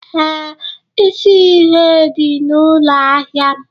Ee, isi ihe dị na ụlọ ahịa m